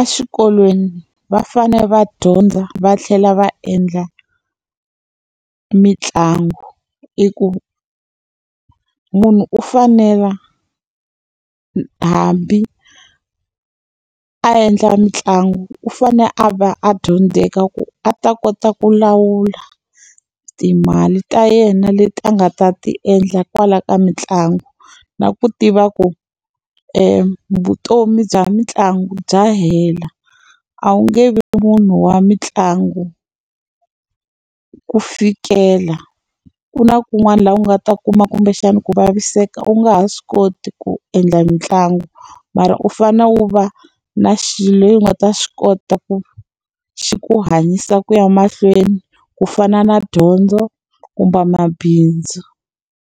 exikolweni va fanele va dyondza va tlhela va endla mitlangu. I ku munhu u fanela hambi a endla mitlangu u fanele a va a dyondzeka ku a ta kota ku lawula timali ta yena leti a nga ta ti endla kwala ka mitlangu. Na ku tiva ku vutomi bya mitlangu bya hela, a wu nge vi munhu wa mitlangu ku fikela. Ku na kun'wana laha u nga ta kuma kumbexana ku vaviseka u nga ha swi koti ku endla mitlangu, mara u fanele u va na xilo lexi u nga ta xi kota ku xi ku hanyisa ku ya mahlweni, ku fana na dyondzo kumbe mabindzu.